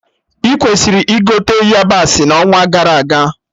Ị kwesịrị ịgote yabasị na onwa gara aga